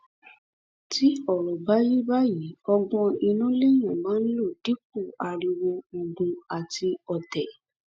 tí ọrọ bá rí báyìí ọgbọn inú lèèyàn máa ń lò dípò ariwo ogun àti ọtẹ